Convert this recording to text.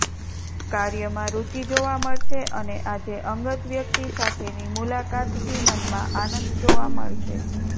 કાર્યમાં રુચિ જોવા મળશે અને આજે અંગત વ્યક્તિ સાથેની મુલાકાતથી મનમાં આનંદ જોવા મળશે